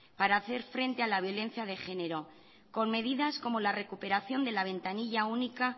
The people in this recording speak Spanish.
para hacer frente a la violencia de genero con medidas como la recuperación de la ventanilla única